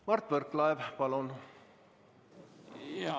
Mart Võrklaev, palun!